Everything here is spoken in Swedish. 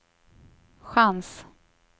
chans